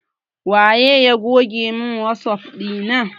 Waye goge mun wasap ɗina na?